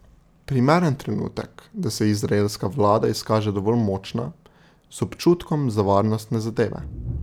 Primeren trenutek, da se izraelska vlada izkaže dovolj močna, z občutkom za varnostne zadeve.